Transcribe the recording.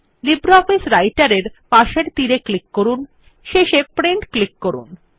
LibreOffice রাইটের এর পাশের তীর এ ক্লিক করুন এবং শেষে প্রিন্ট ক্লিক করুন